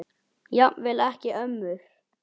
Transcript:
Jafnvel ekki ömmur.